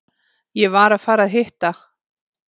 Ég var að fara að hitta